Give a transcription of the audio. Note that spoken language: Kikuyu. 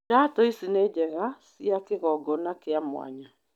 Iratũ ici ni njega cia kigongona kĩa mwanya.